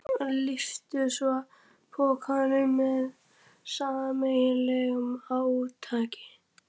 Lyftu svo pokanum með sameiginlegu átaki.